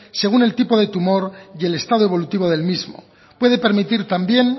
según el tipo de tumor y el estado evolutivo del mismo puede permitir también